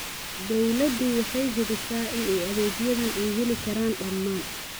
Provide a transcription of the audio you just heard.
Dawladdu waxay hubisaa in adeegyadan ay heli karaan dhammaan.